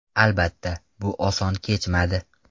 Albatta, bu oson kechmadi.